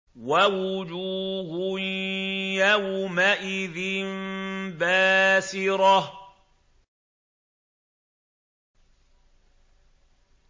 وَوُجُوهٌ يَوْمَئِذٍ بَاسِرَةٌ